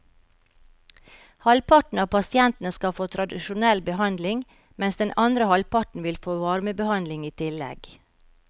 Halvparten av pasientene skal få tradisjonell behandling, mens den andre halvparten vil få varmebehandling i tillegg.